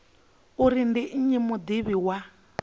uri ndi nnyi mudivhi wa